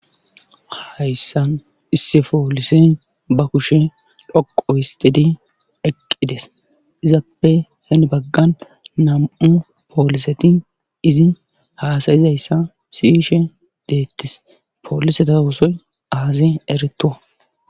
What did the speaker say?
hayssan isse poolise ba kushe lhoqo histidi eqqides izaappe hen baggan nam7u pooliseti izi haasayizayssa siyishe deettis poolisetaosoy aaze eretuwa